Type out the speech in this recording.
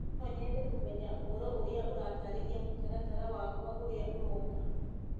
no nyende kũmenya ũhoro ũrĩa ũratarĩria mũtaratara wakwa ũrĩa ũrooka